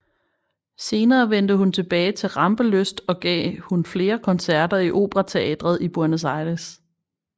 Senere vendte hun tilbage til rampelyst og gav hun flere koncerter i Operateatret i Buenos Aires